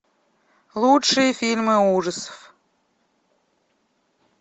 лучшие фильмы ужасов